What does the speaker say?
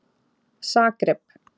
Zagreb